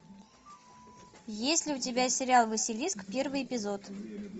есть ли у тебя сериал василиск первый эпизод